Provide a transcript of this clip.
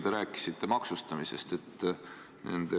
Te rääkisite maksustamisest.